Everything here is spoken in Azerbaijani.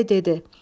Bolu bəy dedi: